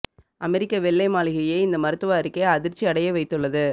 அமெரிக்க வெள்ளை மாளிகையை இந்த மருத்துவ அறிக்கை அதிர்ச்சி அடைய வைத்துள்ளது